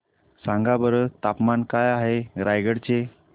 सांगा बरं तापमान काय आहे रायगडा चे